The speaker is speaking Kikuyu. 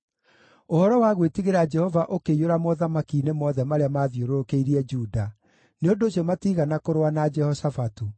Ũhoro wa gwĩtigĩra Jehova ũkĩiyũra mothamaki-inĩ mothe marĩa maathiũrũrũkĩirie Juda, nĩ ũndũ ũcio matiigana kũrũa na Jehoshafatu.